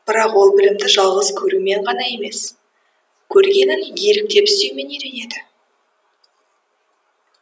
бірақ ол білімді жалғыз көрумен ғана емес көргенін еліктеп істеумен үйренеді